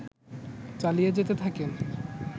চালিয়ে যেতে থাকেন